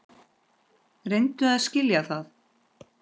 Reyndu að skilja það.